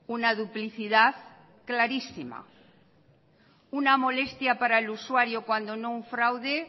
una duplicidad clarísima una molestia para el usuario cuando no un fraude